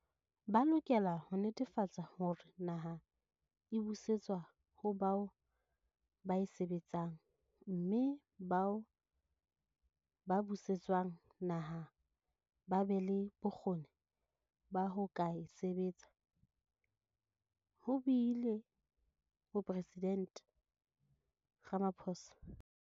Ba lokela ho netefatsa hore naha e busetswa ho bao ba e sebetsang mme bao ba buse tswang naha ba be le bokgoni ba ho ka e sebetsa, ho buile Moporesident Ramaphosa.